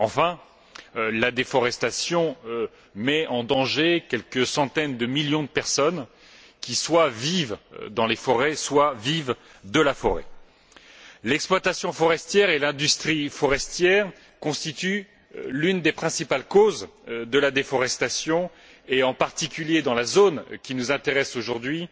Enfin, la déforestation met en danger quelques centaines de millions de personnes qui, soit vivent dans les forêts, soit vivent de la forêt. L'exploitation et l'industrie forestières figurent parmi les principales causes de la déforestation, en particulier, dans la zone qui nous intéresse aujourd'hui